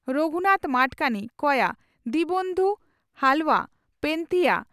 ᱨᱚᱜᱷᱩᱱᱟᱛᱷ ᱢᱟᱰᱠᱟᱱᱤ (ᱠᱚᱭᱟ) ᱫᱤᱱᱵᱚᱱᱫᱷᱩ ᱦᱟᱞᱣᱟ (ᱯᱮᱱᱛᱷᱤᱭᱟᱹ)